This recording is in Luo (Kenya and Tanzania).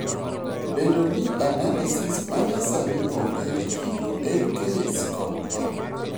Bedo ni analysis manyasani onge e chiro en case kod point.